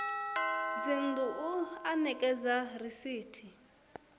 dzinnu u o ekedza risithi